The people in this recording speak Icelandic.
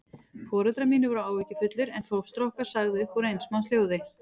Foreldrar mínir voru áhyggjufullir, en fóstra okkar sagði upp úr eins manns hljóði